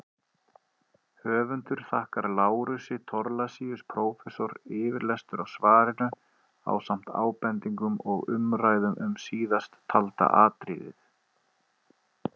Höfundur þakkar Lárusi Thorlacius prófessor yfirlestur á svarinu ásamt ábendingum og umræðum um síðasttalda atriðið.